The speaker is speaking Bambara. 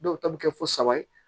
Dɔw ta bɛ kɛ fo saba ye